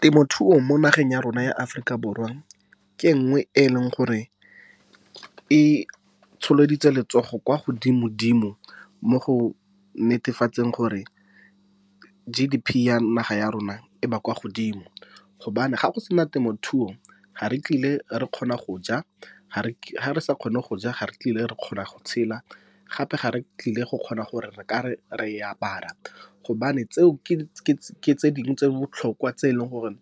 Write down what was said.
Temothuo mo nageng ya rona ya Aforika Borwa ke e nngwe e e leng gore e tsholeditse letsogo kwa godimo-dimo mo go netefatseng gore G_D_P ya naga ya rona e ba kwa godimo. Gobane ga go sena temothuo ga re tlile re kgona go ja, ga re sa kgone go ja ga re tlile re kgona go tshela gape ga re tlile go kgona gore re ka re re e apara, gobane tseo ke tse dingwe tse di botlhokwa tse e leng gore